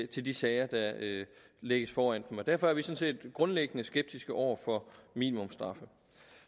til de sager der lægges foran dem og derfor er vi sådan set grundlæggende skeptiske over for minimumsstraffe